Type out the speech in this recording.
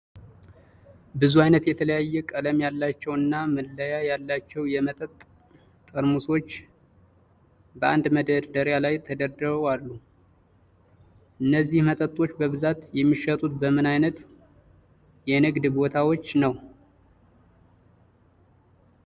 ብዙ ዓይነት የተለያየ ቀለም ያላቸው እና መለያ ያላቸው የመጠጥ ጠርሙሶች በአንድ መደርደሪያ ላይ ተደርድረው አሉ። እነዚህ መጠጦች በብዛት የሚሸጡት በምን ዓይነት የንግድ ቦታዎች ነው?